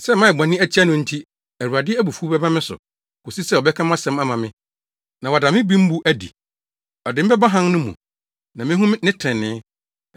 Sɛ mayɛ bɔne atia no nti, Awurade abufuw bɛba me so, kosi sɛ ɔbɛka mʼasɛm ama me na wada me bembu adi. Ɔde me bɛba hann no mu; na mehu ne trenee.